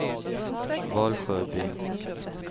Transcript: Valsjöbyn